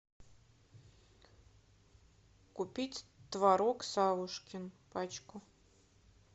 купить творог савушкин пачку